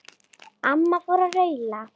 Amma fór að raula.